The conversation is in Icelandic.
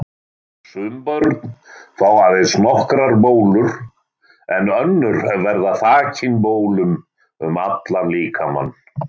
Sum börn fá aðeins nokkrar bólur en önnur verða þakin bólum um allan líkamann.